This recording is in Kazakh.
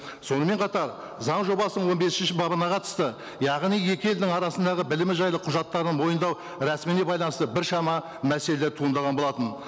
сонымен қатар заң жобасының он бесінші бабына қатысты яғни екі елдің арасындағы білімі жайлы құжаттарды мойындау рәсіміне байланысты біршама мәселелер туындаған болатын